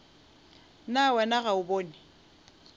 na wena ga o bone